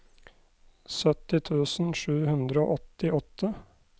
sytti tusen sju hundre og åttiåtte